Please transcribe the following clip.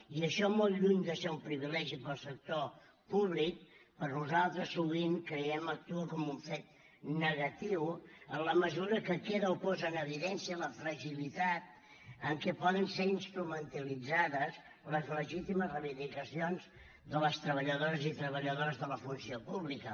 i això molt lluny de ser un privilegi per al sector públic per nosaltres sovint creiem actua com un fet negatiu en la mesura que queda o posa en evidència la fragilitat amb què poden ser instrumentalitzades les legítimes reivindicacions de les treballadores i treballadors de la funció pública